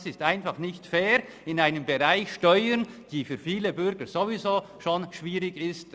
Das ist einfach nicht fair im Bereich Steuern, der für viele Bürger ohnehin schon schwierig ist.